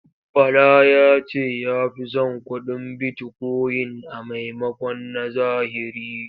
Bala ya ce ya fi son kuɗin bitikoyin a maimakon na zahiri.